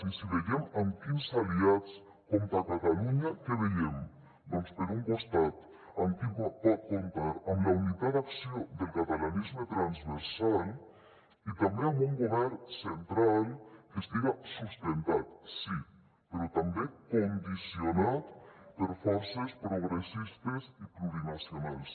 i si veiem amb quins aliats compta catalunya què veiem doncs per un costat amb qui pot comptar amb la unitat d’acció del catalanisme transversal i també amb un govern central que estiga sustentat sí però també condicionat per forces progressistes i plurinacionals